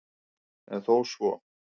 En þó svo